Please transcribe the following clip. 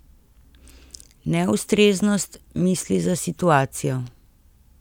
Neustreznost misli za situacijo.